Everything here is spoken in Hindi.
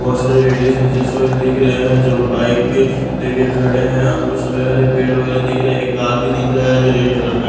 बहोत सारे लेडीज हैं जो इस समय दिख रहे हैं जो बाइक लेके खड़े हैं और कुछ खड़े हैं और एक पेड़ वगैरह दिख रहे हैं एक कार भी दिख रहा है जो रेड कलर का --